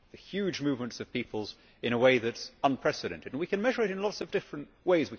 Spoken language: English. huge movements of peoples in a way that is unprecedented, and we can measure it in lots of different ways.